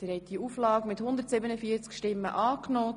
Sie haben Auflage 1 angenommen.